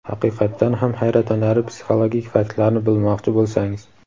Haqiqatdan ham hayratlanarli psixologik faktlarni bilmoqchi bo‘lsangiz.